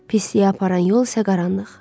Pisliyə aparan yol isə qaranlıq.